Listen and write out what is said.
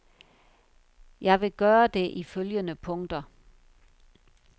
Jeg vil gøre det i følgende punkter.